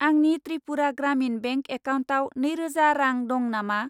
आंनि त्रिपुरा ग्रामिन बेंक एकाउन्टाव नैरोजा रां दं नामा?